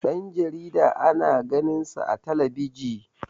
Dan jarida ana ganinsa a talabiji